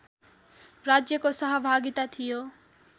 राज्यको सहभागिता थियो